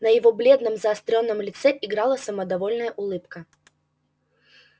на его бледном заострённом лице играла самодовольная улыбка